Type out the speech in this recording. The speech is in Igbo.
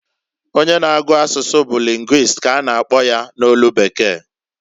Onye na-agu asusu bu linguist ka a na akpọ ya n'olu bekee.